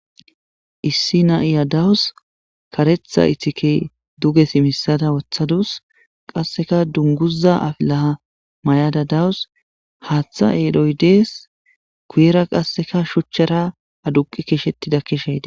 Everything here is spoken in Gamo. issi na7iya dawus karetha itike duge simisada wothadus qasseka dunguza afilaha may7ada dawus haaththa eedhoy dees kuyera qasseka shuchchara aduqi keeshettida keshayde